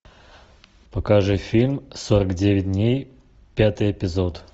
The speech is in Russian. покажи фильм сорок девять дней пятый эпизод